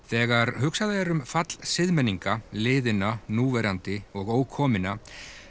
þegar hugsað er um fall liðinna núverandi og ókominna